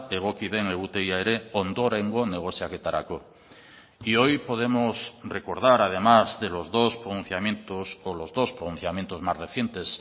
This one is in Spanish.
egoki den egutegia ere ondorengo negoziaketarako y hoy podemos recordar además de los dos pronunciamientos o los dos pronunciamientos más recientes